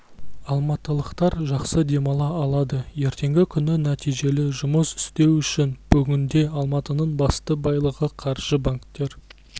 алматылықтар жақсы демала алады ертеңгі күні нәтижелі жұмыс істеу үшін бүгінде алматының басты байлығы қаржы банктер